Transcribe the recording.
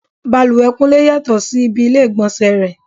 Bàlùwẹ̀ Kúnlé yàtọ̀ sí ibi ilé ìgbọ̀nsẹ̀ rẹ.